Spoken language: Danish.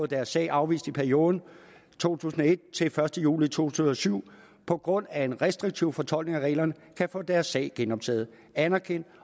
deres sag afvist i perioden to tusind og et til den første juli to tusind og syv på grund af en restriktiv fortolkning af reglerne kan få deres sag genoptaget og anerkendt